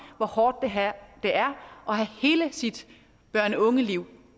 hvor hårdt det er at have hele sit børne og ungeliv